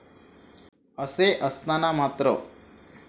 असे असताना मात्र,